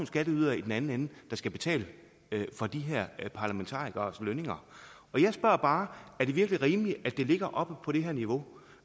skatteydere i den anden ende der skal betale for de her parlamentarikeres lønninger jeg spørger bare er det virkelig rimeligt at det ligger oppe på det her niveau